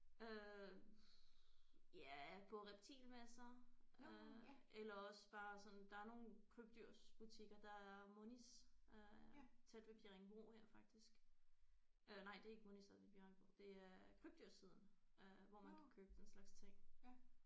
Øh ja på reptilmesser øh eller også bare sådan der er nogle krybdyrsbutikker der er Monis øh tæt ved Bjerringbro her faktisk øh nej det er ikke Monis der er i Bjerringbro det er Krybdyrssiden øh hvor man kan købe den slags ting